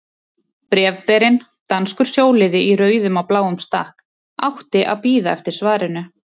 Bréfberinn, danskur sjóliði í rauðum og bláum stakk, átti að bíða eftir svarinu.